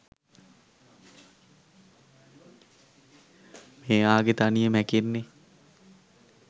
මෙයාගෙ තනිය මැකෙන්නෙ.